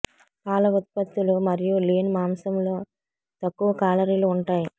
పాల ఉత్పత్తులు మరియు లీన్ మాంసంలో తక్కువ కాలరీలు ఉంటాయి